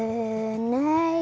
nei